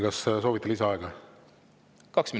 Ka soovite lisaaega?